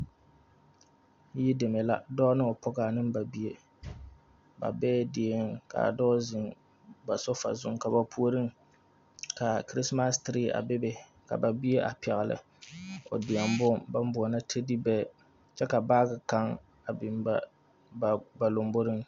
Yideme la dɔɔ ne o pɔgɔ ne ba bie ba bee die ka dɔɔ ziŋ ba sofa zuiŋ ka ba puoriŋ ka kirismas tirii a bebe kyɛ ka bie a pɛgli o deɛbon ka ba buolɔ tɛde bɛɛ ka baage ka biŋ ba lamboriŋ.